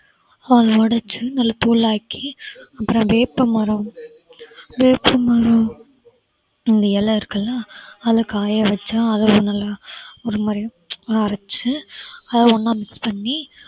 அவரு அதை உடைச்சி நல்ல தூளாக்கி அப்புறம் வேப்பமரம் வேப்பமரம் இலை இருக்கு இல்ல அதுல காயவச்சா அதை வந்து நல்லா ஒரு மாதிரி நல்லா அரைச்சி அத ஒண்ணா mix பண்ணி